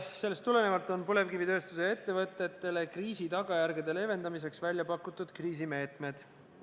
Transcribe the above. Sellest tulenevalt on põlevkivitööstuse ettevõtetele kriisi tagajärgede leevendamiseks välja pakutud kriisimeetmed.